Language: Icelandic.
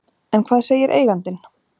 En hvað segir eigandinn?